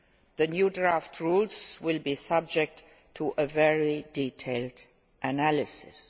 The new draft rules will be subjected to a very detailed analysis.